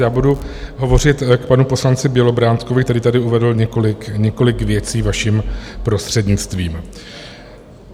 Já budu hovořit k panu poslanci Bělobrádkovi, který tady uvedl několik věcí, vaším prostřednictvím.